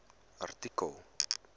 artikel